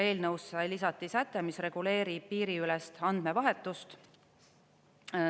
Eelnõusse lisati säte, mis reguleerib piiriülest andmevahetust.